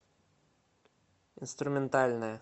инструментальная